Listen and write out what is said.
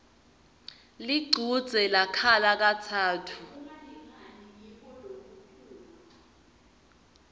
lichudze lakhala katsatfu